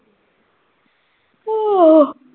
ਹੋ